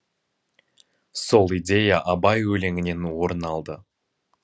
сол идея абай өлеңінен орын алды